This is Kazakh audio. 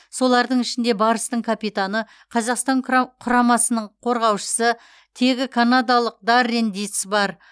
солардың ішінде барыстың капитаны қазақстан құрамасының қорғаушысы тегі канадалық даррен диц бар